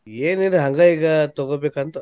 ಏನಿಲ್ಲಾ ಹಂಗ ಈಗಾ ತೊಗೋಬೇಕಂತ.